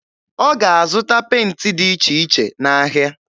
Ọ ga-azụta penti dị iche iche n'ahịa.